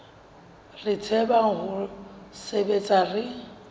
re tsebang ho sebetsa re